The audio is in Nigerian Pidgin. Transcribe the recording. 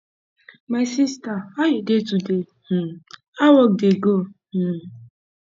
my sister how you dey today um how work dey go um